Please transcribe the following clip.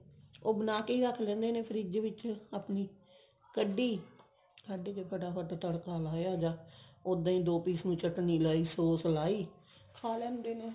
ਉਹ ਬਣਾ ਕੇ ਹੀ ਰੱਖ ਲੈਂਦੇ ਨੇ ਫ੍ਰਿਜ ਵਿੱਚ ਆਪਣੀ ਕੱਢੀ ਕੱਢ ਕੇ ਫਟਾ ਫਟ ਤੜਕਾ ਲਾਇਆ ਜਾਂ ਉੱਦਾਂ ਹੀ ਦੋ piece ਨੂੰ ਚਟਨੀ ਲਾਈ sos ਲਾਈ ਖਾ ਲੈਂਦੇ ਨੇ